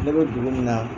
Ne bɛ dugu min na